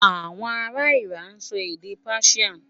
Àwọn ará Iran náà ń sọ èdè Persian.